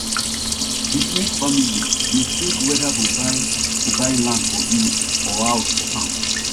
di smith family dey think whether to buy to buy land for village or house for town